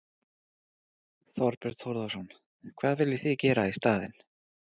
Þorbjörn Þórðarson: Hvað viljið þið gera í staðinn?